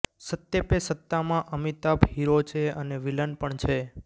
સત્તે પે સત્તામાં અમિતાભ હીરો છે અને વિલન પણ છે